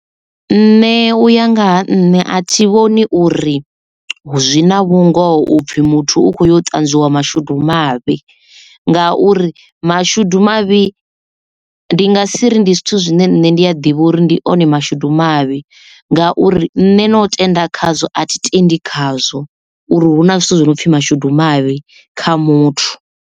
Nṋe uya ngaha nṋe a thi vhoni uri zwi na vhungoho upfhi muthu u khou yo ṱanzwiwa mashudu mavhi nga uri mashudu mavhi ndi nga si ri ndi zwithu zwine nṋe nda a ḓivha uri ndi one mashudu mavhi ngauri nne no tenda khazwo a thi tendi khazwo uri huna zwithu zwinopfhi mashudu mavhi kha muthu.